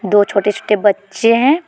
दो छोटे छोटे बच्चे हैं ।